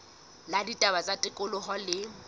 la ditaba tsa tikoloho le